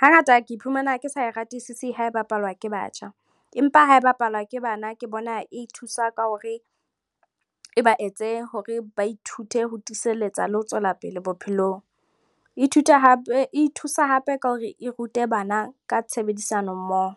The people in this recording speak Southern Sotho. Hangata ke iphumana ke sa e ratisisi ha e bapalwa ke batjha empa ha e bapalwa ke bana ke bona e thusa ka hore e ba etse hore ba ithute ho tiiselletsa le ho tswellapele bophelong, e thusa hape ka hore e rute bana ka tshebedisanommoho.